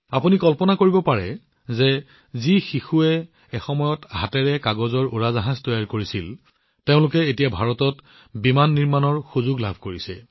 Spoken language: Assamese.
আপোনালোকে কল্পনা কৰিব পাৰে যে যিসকল শিশুৱে এসময়ত কাগজৰ বিমান তৈয়াৰ কৰিছিল আৰু হাতেৰে সেইবোৰ উৰুৱাইছিল তেওঁলোকে এতিয়া ভাৰতত বিমান বনোৱাৰ সুযোগ পাইছে